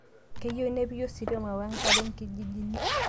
Keyieu nepiki ositima we nkare lkijijini